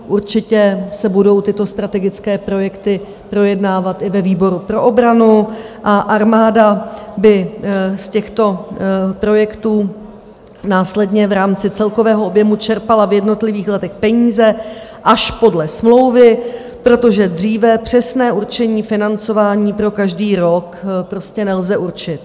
Určitě se budou tyto strategické projekty projednávat i ve výboru pro obranu a armáda by z těchto projektů následně v rámci celkového objemu čerpala v jednotlivých letech peníze až podle smlouvy, protože dříve přesné určení financování pro každý rok prostě nelze určit.